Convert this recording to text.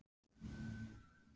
Það var kátt á hjalla í eldhúsinu.